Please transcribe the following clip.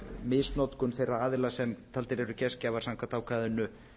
misnotkun þeirra aðila sem taldir eru gestgjafar samkvæmt ákvæðinu